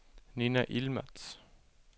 Nina Yilmaz